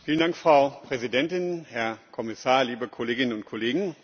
Frau Präsidentin, Herr Kommissar, liebe Kolleginnen und Kollegen!